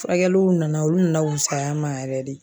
Furakɛliw nana olu nana wusaya n ma yɛrɛ de.